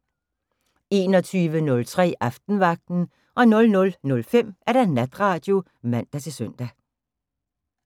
21:03: Aftenvagten 00:05: Natradio (man-søn)